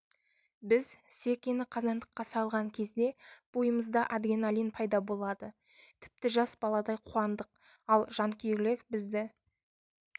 біз серкені қазандыққа салған кезде бойымызда адреналин пайда болады тіпті жас баладай қуандық ал жанкүйерлер бізді